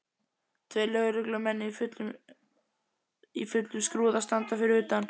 Tveir lögreglumenn í fullum skrúða standa fyrir utan.